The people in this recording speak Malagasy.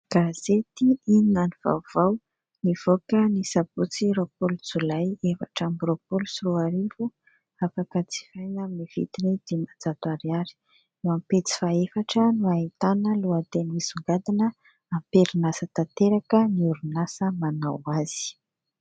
Gazety "Inona no vaovao" nivoaka ny sabotsy roapolo jolay efatra amby roapolo sy roa arivo afaka jifaina amin'ny vidiny dimanjato ariary. Eo amin'ny pejy fahaefatra no ahitana lohateny misongadina : "Amperinasa tanteraka ny orinasa manao ny asa".